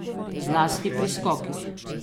Zlasti pri skokih.